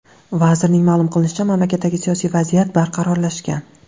Vazirning ma’lum qilishicha, mamlakatdagi siyosiy vaziyat barqarorlashgan.